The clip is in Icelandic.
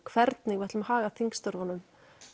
hvernig við ætlum að haga þingstörfum